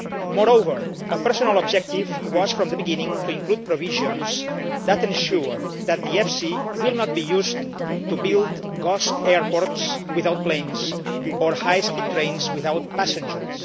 Moreover, a personal objective was from the beginning to include provisions that ensure that the EFSI will not be used to build ghost airports' without planes or high speed trains without passengers.